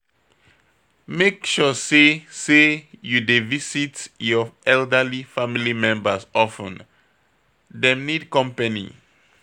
Make sure sey sey you dey visit your elderly family members of ten, dem need company